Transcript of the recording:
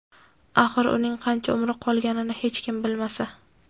Axir uning qancha umri qolganini hech kim bilmasa?.